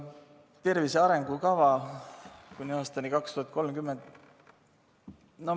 Tervise arengukava kuni aastani 2030.